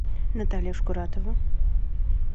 наталья шкуратова